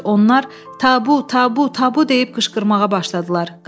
Onlar tabu, tabu, tabu deyib qışqırmağa başladılar.